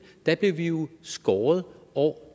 der blev vi jo skåret år